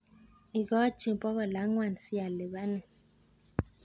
ikochi bokol angwaan sialipanin